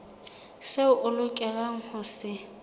seo o lokelang ho se